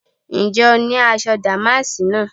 Ǹjẹ́ o ní aṣọ dàmáàsì náà?